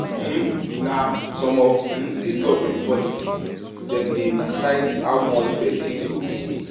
um Na some of um dis government policy dem dey decide how much pesin go make.